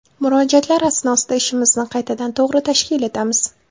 Murojaatlar asnosida ishimizni qaytadan, to‘g‘ri tashkil etamiz.